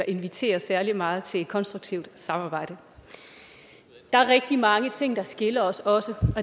inviterer særlig meget til konstruktivt samarbejde der er rigtig mange ting der også skiller os og